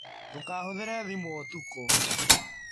Ndũkahũthĩre thimũ ũtukũ.